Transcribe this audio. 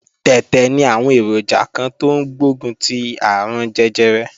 Tẹ̀tẹ̀ ní àwọn èròjà kan tó ń gbógun ti àrùn jẹjẹrẹ